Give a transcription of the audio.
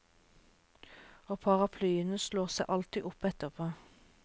Og paraplyene slår seg altid opp etterpå.